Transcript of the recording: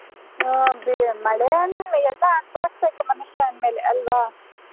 ಓ ಮಳೆ ಅಲ್ಲ ಎಲ್ಲ ಅನುಭವಿಸಬೇಕು ಮನುಷ್ಯ ಅಂದ್ಮೇಲೆ ಅಲ್ವಾ.